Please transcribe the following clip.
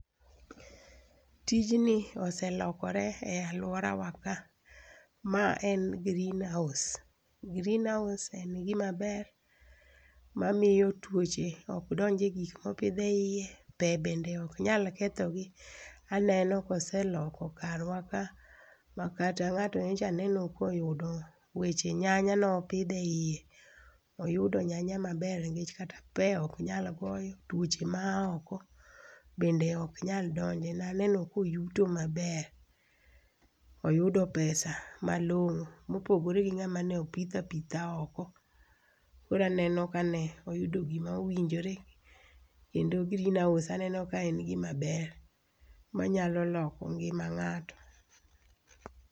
Tijni ose lokore e aluora wa ka. Ma en green house. Green house en gima ber mamiyo tuoche ok donj e gik mopidh eiye, pe bende ok nyal kethogi, aneno ka oseloko karwa ka makata ng'ato nyocha aneno koyudo weche nyanya nopidho eiye. Oyudo nyanya maber nikech kata pe ok nyal goyo, tuoche maoko bende ok nyal donje. Naneno ka oyuto maber. Oyudo pesa malong'o mopogore gi ng'ama ne opitho apitha oko. Koro aneno kane oyudo gima owinjore kendo green house aneno ka en gima ber mayalo loko ngima ng'ato